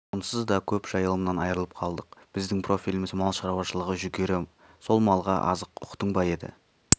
онсыз да көп жайылымнан айрылып қалдық біздің профиліміз малшаруашылығы жүгері сол малға азық ұқтың ба деді